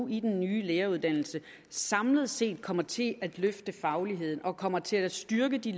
i den nye læreruddannelse samlet set kommer til at løfte fagligheden og kommer til at styrke de